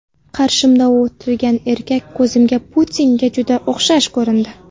Qarshimda o‘tirgan erkak ko‘zimga Putinga juda o‘xshash ko‘rindi.